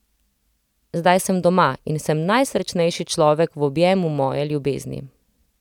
Zdaj sem doma in sem najsrečnejši človek v objemu moje ljubezni.